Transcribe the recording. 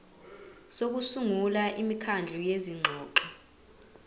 sokusungula imikhandlu yezingxoxo